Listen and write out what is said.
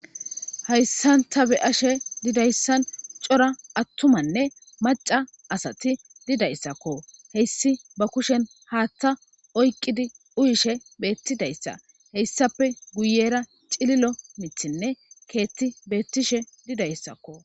Hayssanta be ashe didayssan cora attumanne maca asati didayssakko heyssi ba kushen haaththa oyqqidi uyishe beettidayssa heyssappe guyera cililo mithinne keetti beettishe didayssakko.